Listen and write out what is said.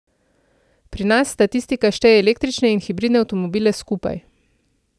Pri nas statistika šteje električne in hibridne avtomobile skupaj.